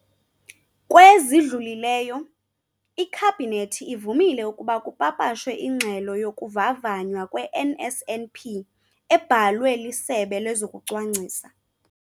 lwa zidlulileyo, iKhabhinethi ivumile ukuba kupapashwe iNgxelo yokuVavanywa kwe-NSNP, ebhalwe liSebe lezokuCwangcisa,